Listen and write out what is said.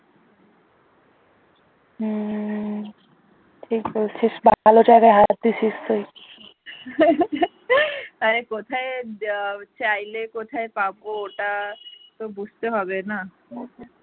আরে কোথায় চাইলে কোথায় পাব ওটা তো বুঝতে হবে না